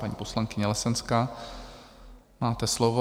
Paní poslankyně Lesenská, máte slovo.